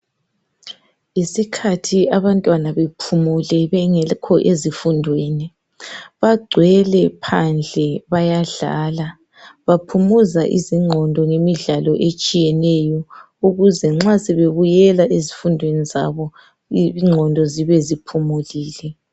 Yisikhathi abantwana bephumule bengekho ezifundweni. Bagcwele phandle bayadlala. Baphumuza izingqondo ngemidlalo etshiyeneyo ukuze nxa sebebuyela ezifundweni zabo ingqondo zibe ziphumulile.